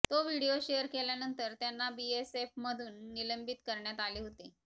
तो video share केल्यानंतर त्यांना बीएसएफमधून निलंबित करण्यात आले होते